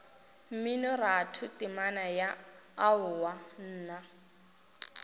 mminoratho temana ya aowa nna